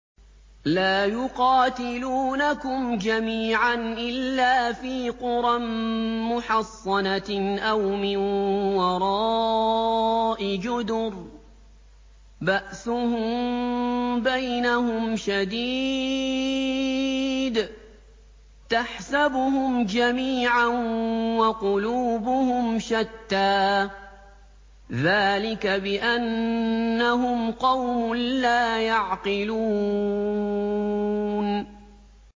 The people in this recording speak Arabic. لَا يُقَاتِلُونَكُمْ جَمِيعًا إِلَّا فِي قُرًى مُّحَصَّنَةٍ أَوْ مِن وَرَاءِ جُدُرٍ ۚ بَأْسُهُم بَيْنَهُمْ شَدِيدٌ ۚ تَحْسَبُهُمْ جَمِيعًا وَقُلُوبُهُمْ شَتَّىٰ ۚ ذَٰلِكَ بِأَنَّهُمْ قَوْمٌ لَّا يَعْقِلُونَ